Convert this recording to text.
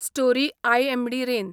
story IMD rain